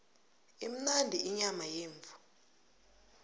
imnandi inyama yemvu